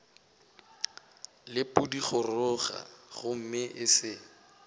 le pudigoroga gomme e se